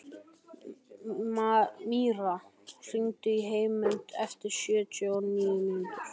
Míra, hringdu í Heiðmund eftir sjötíu og níu mínútur.